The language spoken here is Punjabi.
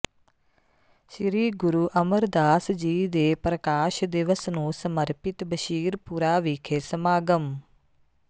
ਸ੍ਰੀ ਗੁਰੂ ਅਮਰਦਾਸ ਜੀ ਦੇ ਪ੍ਰਕਾਸ਼ ਦਿਵਸ ਨੂੰ ਸਮਰਪਿਤ ਬਸ਼ੀਰਪੁਰਾ ਵਿਖੇ ਸਮਾਗਮ